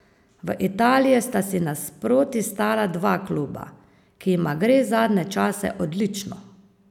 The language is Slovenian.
V Italiji sta si nasproti stala dva kluba, ki jima gre zadnje čase odlično.